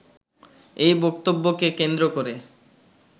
এই বক্তব্যকে কেন্দ্র করে